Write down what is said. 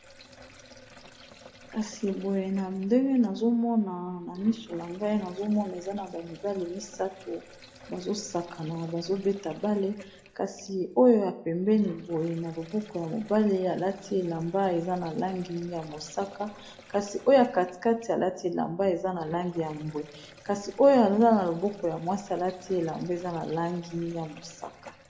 Kasi boye na ndenge nazomona na misu na ngai nazomona eza na ba mibale misato bazosaka na bazobeta bale kasi oyo apembeni boye na loboko ya mobale alati elamba eza na langi ya mosaka kasi oyo katikate alati elamba eza na langi ya mbwe kasi oyo aza na loboko ya mwasi alati elamba eza na langi ya mosaka.